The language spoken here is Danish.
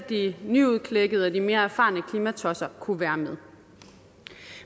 de nyudklækkede og de mere erfarne klimatosser kunne være med